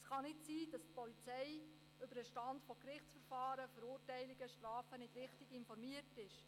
Es kann nicht sein, dass die Polizei über den Stand von Gerichtsverfahren, Verurteilungen und Strafen nicht richtig informiert ist.